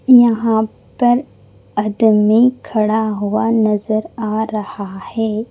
यहां पर आदमी खड़ा हुआ नजर आ रहा है।